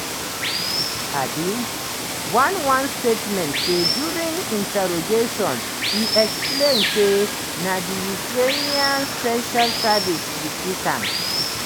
um one one statement say during "interrogation e explain say na di ukrainian special services recruit am".